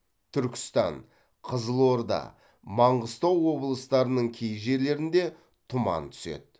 түркістан қызылорда маңғыстау облыстарының кей жерлеріңде тұман түседі